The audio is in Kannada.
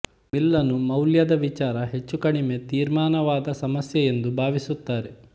ಮಿಲ್ಲನು ಮೌಲ್ಯದ ವಿಚಾರ ಹೆಚ್ಚೂ ಕಡಿಮೆ ತೀರ್ಮಾನವಾದ ಸಮಸ್ಯೆಯೆಂದು ಭಾವಿಸುತ್ತಾರೆ